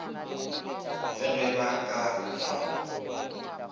le ge ba ka hlwa